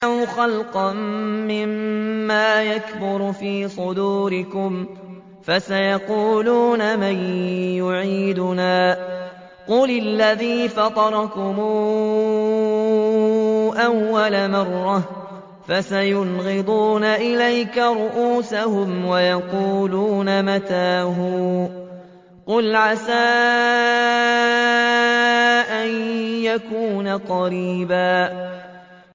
أَوْ خَلْقًا مِّمَّا يَكْبُرُ فِي صُدُورِكُمْ ۚ فَسَيَقُولُونَ مَن يُعِيدُنَا ۖ قُلِ الَّذِي فَطَرَكُمْ أَوَّلَ مَرَّةٍ ۚ فَسَيُنْغِضُونَ إِلَيْكَ رُءُوسَهُمْ وَيَقُولُونَ مَتَىٰ هُوَ ۖ قُلْ عَسَىٰ أَن يَكُونَ قَرِيبًا